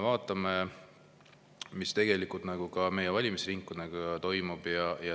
Vaatame, mis ka meie valimisringkondadega toimub.